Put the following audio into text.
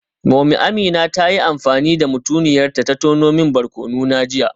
Mummy Amina ta yi amfani da mutuniyar ta ta tono min barkono na jiya